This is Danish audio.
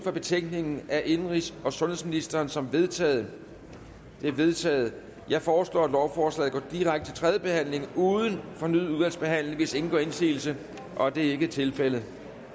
for betænkningen af indenrigs og sundhedsministeren som vedtaget det er vedtaget jeg foreslår at lovforslaget går direkte til tredje behandling uden fornyet udvalgsbehandling hvis ingen gør indsigelse det er ikke tilfældet